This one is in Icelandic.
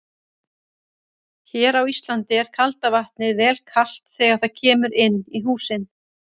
Hér á Íslandi er kalda vatnið vel kalt þegar það kemur inn í húsin.